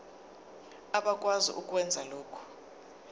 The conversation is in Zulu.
abakwazi ukwenza lokhu